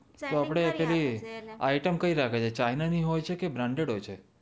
તો આપડે એ પેલી આઈટમ કઈ રાખે છે ચાઇના ની હોય છે કે બાર્નડેડ હોય છે